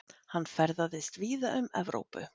Hann ferðaðist víða um Evrópu.